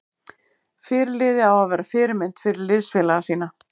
Fyrirliði á að vera fyrirmynd fyrir liðsfélaga sína.